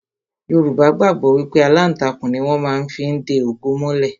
Yorùbá gbàgbọ́ wípé aláǹtakùn ni wón má fí ń de ògo mọ́lẹ̀